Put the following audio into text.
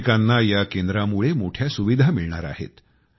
भाविकांना या केंद्रामुळे मोठ्या सुविधा मिळणार आहेत